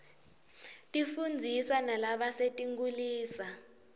tifundzisa nalabasetinkhulisa